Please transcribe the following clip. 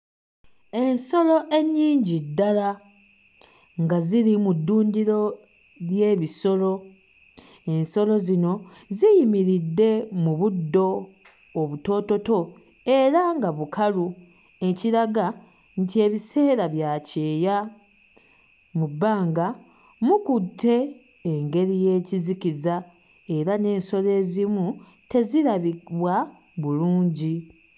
Ensolo ennyingi ddala nga ziri mu ddundiro ly'ebisolo, ensolo zino ziyimiridde mu buddo obutoototo era nga bukalu ekiraga nti ebiseera bya kyeya. Mu bbanga mukutte engeri y'ekizikiza era n'ensolo ezimu tezirabibwa bulungi.